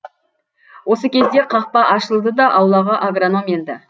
осы кезде қақпа ашылды да аулаға агроном енді